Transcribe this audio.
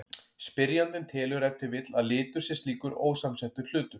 Spyrjandinn telur ef til vill að litur sé slíkur ósamsettur hlutur.